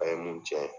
A ye mun cɛn